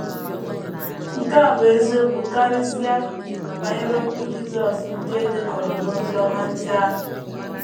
Nke a bụ eziokwu karịsịa banyere okwu Jisọs ndị e dekọrọ n’Oziọma ndị ahụ.